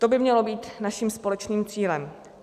To by mělo být naším společným cílem.